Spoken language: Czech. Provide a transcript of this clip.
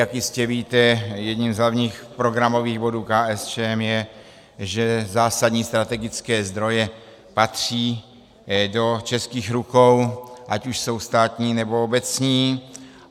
Jak jistě víte, jedním z hlavních programových bodů KSČM je, že zásadní strategické zdroje patří do českých rukou, ať už jsou státní, nebo obecní.